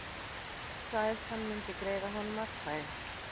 Sagðist hann myndi greiða honum atkvæði